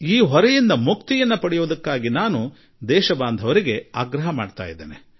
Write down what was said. ಈ ಹೊರೆಯಿಂದ ಮುಕ್ತರಾಗಿ ಎಂದು ನಾನು ಜನತೆಗೆ ಮನವಿ ಮಾಡುವೆ